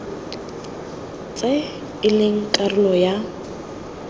tse e leng karolo ya